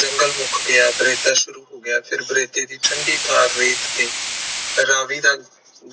ਜੰਗਲ ਮੁਕ ਗਯਾ ਸ਼ੁਰੂ ਹੋ ਗਯਾ ਫਿਰ ਦੀ ਠੰਡੀ ਠਾਰ੍ਹ ਰੇਤ ਤੇ ਰਾਵੀ ਦੇ